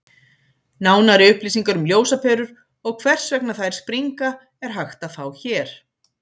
Nánari upplýsingar um ljósaperur og hvers vegna þær springa er hægt að fá hér.